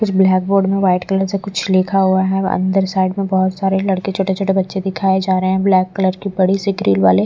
कुछ black board में white colour से कुछ लिखा हुआ है अंदर साइड में बहुत सारे लड़के छोटे-छोटे बच्चे दिखाए जा रहे हैं ब्लैक कलर की बड़ी सी ग्रील वाले--